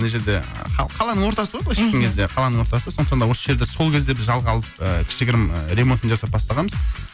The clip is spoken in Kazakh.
мына жерде қаланың ортасы ғой былайша айтқан кезде қаланың ортасы сондықтан да осы жерді да сол кезде біз жалға алып ыыы кішігірім ремонтын жасап бастағанбыз